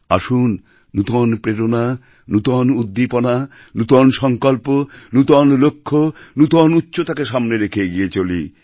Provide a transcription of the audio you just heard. আসুন নূতন প্রেরণা নূতন উদ্দীপনা নূতন সংকল্প নূতন লক্ষ্য নূতন উচ্চতাকে সামনে রেখে এগিয়ে চলি